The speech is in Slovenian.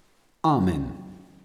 Amen.